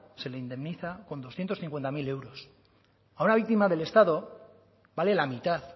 se le indemniza con doscientos cincuenta mil euros a una víctima del estado vale la mitad